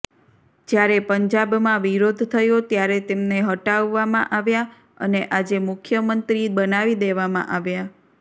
જ્યારે પંજાબમાં વિરોધ થયો ત્યારે તેમને હટાવવામાં આવ્યા અને આજે મુખ્યમંત્રી બનાવી દેવામાં આવ્યા